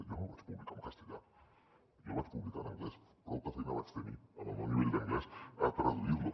jo no el vaig publicar en castellà jo el vaig publicar en anglès prouta feina vaig tenir amb el meu nivell d’anglès a traduir lo